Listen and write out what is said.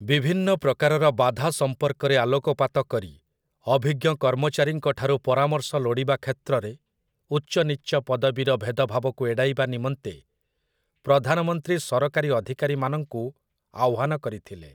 ବିଭିନ୍ନ ପ୍ରକାରର ବାଧା ସମ୍ପର୍କରେ ଆଲୋକପାତ କରି, ଅଭିଜ୍ଞ କର୍ମଚାରୀଙ୍କ ଠାରୁ ପରାମର୍ଶ ଲୋଡ଼ିବା କ୍ଷେତ୍ରରେ ଉଚ୍ଚନୀଚ ପଦବୀର ଭେଦଭାବକୁ ଏଡ଼ାଇବା ନିମନ୍ତେ ପ୍ରଧାନମନ୍ତ୍ରୀ ସରକାରୀ ଅଧିକାରୀମାନଙ୍କୁ ଆହ୍ୱାନ କରିଥିଲେ ।